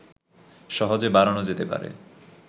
সহজেই বাড়ানো যেতে পারে